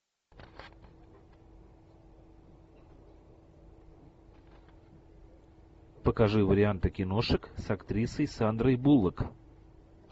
покажи варианты киношек с актрисой сандрой буллок